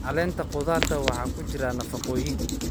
Caleenta khudaarta waxaa ku jira nafaqooyin.